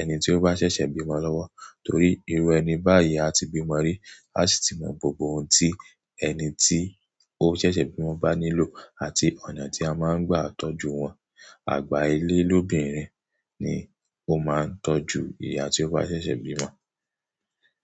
ẹni tí ó bá ṣẹ̀ṣẹ̀ bímọ lọ́wọ́. Torí irú ẹni báyìí a ti bímọ rí, a sì ti mọ gbogbo ohun tí ẹni tí ó ṣẹ̀ṣẹ̀ bímọ bá nílò àti ọ̀nà tí a máa ń gba tọ́jú wọn. Àgbà ilé lóbìnrin ni ó máa ń tọ́jú ìyá tí ó bá ṣẹ̀ṣẹ̀ bímọ.